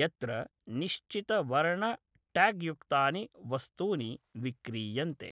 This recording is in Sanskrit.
यत्र निश्चितवर्ण ट्याग्युक्तानि वस्तूनि विक्रीयन्ते।